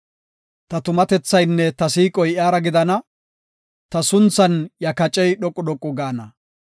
Ta tumatethaynne ta siiqoy iyara gidana; ta sunthan iya kacey dhoqu dhoqu gaana.